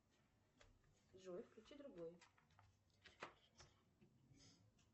джой включи другой